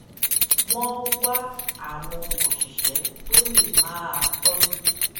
wón wá àwọn òṣìṣé tó lè máa tójú